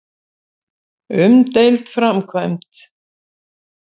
Umdeild framkvæmd.